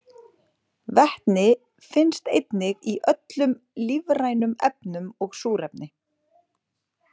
Vetni finnst einnig í öllum lífrænum efnum og súrefni.